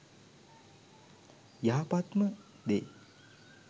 යහපත්ම දේ